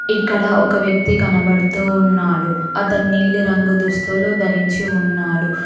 ఇక్కడ ఒక వ్యక్తి కనబడుతూ ఉన్నాడు అతను నీలిరంగు దుస్తులు ధరించి ఉన్నాడు.